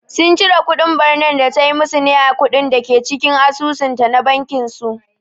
Sun cire kudin ɓarnar da tayi musu ne a kuɗin dake cikin asusun ta na bankin su